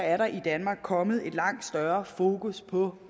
er der i danmark kommet et langt større fokus på